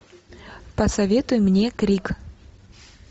посоветуй мне крик